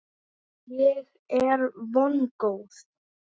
Ég er vongóð.